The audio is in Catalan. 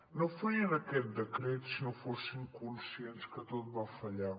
no farien aquest decret si no fossin conscients que tot va fallar